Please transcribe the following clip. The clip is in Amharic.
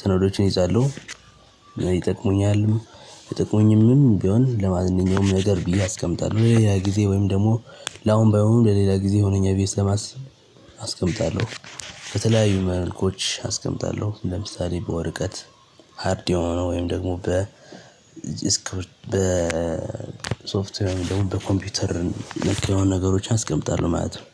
ሰነዶችን ይይዛለሁ። ይጠቅሙኛል ማይጠቅሙኝም ቢሆን ለማንኛውም ነገር ብዬ አስቀምጣለው። ለሌላ ጊዜ ወይም ደግሞ ለአሁን ባይሆኑ ለሌላ ጊዜ ይሆኑኛል ብዬ ስለማስብ አስቀምጣለው። ከተለያዩ መልኩዎች አስቀምጣለሁ ለምሳሌ በወረቀት ሃርድ የሆነው ወይም ደግሞ በ እስከ በሶፍት ወይም ደግሞ በኮምፒውተር ነክ የሆኑ ነገሮችን አስቀምጣለሁ ማለት ነው።